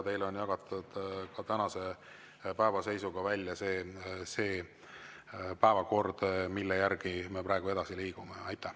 Teile on jagatud tänase päeva seisuga välja see päevakord, mille järgi me praegu edasi liigume.